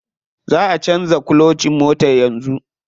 Za'a canza kulocin motar yanzu.